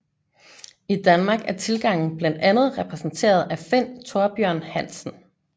I Danmark er tilgangen blandt andet repræsenteret af Finn Thorbjørn Hansen